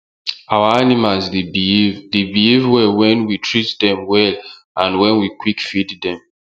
our animals dey behave dey behave well wen we treat dem well and wen we quick feed dem